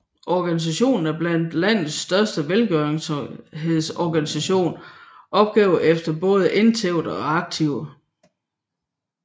Organisationen er blandt landets største velgørenhedsorganisationer opgjort efter både indtægter og aktiver